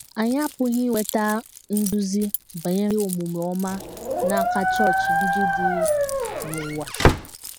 Anyị apụghị inweta nduzi banyere omume ọma n’aka chọọchị ndị dị n’ụwa.